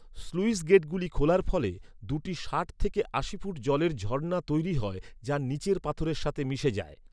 Sluice গেটগুলি খোলার ফলে দু'টি ষাট থেকে আশি ফুট জলের ঝর্না তৈরি হয় যা নীচের পাথরের সাথে মিশে যায়।